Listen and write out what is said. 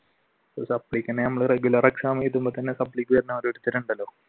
supply തന്നെ ഞമ്മള് regular exam എഴുതുമ്പോൾ തന്നെ സപ്ലൈ വന്നവർ സ്ഥിരം